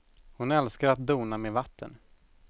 Hon älskar att dona med vatten.